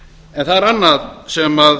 en það er annað sem